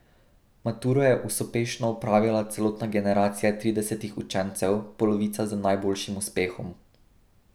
Maturo je usopešno opravila celotna generacija tridesetih učencev, polovica z najboljšim uspehom.